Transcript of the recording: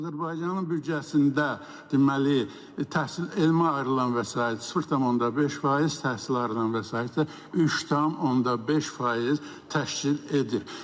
Azərbaycanın büdcəsində deməli təhsil elmə ayrılan vəsait 0,5%, təhsilə ayrılan vəsait isə 3,5% təşkil edir.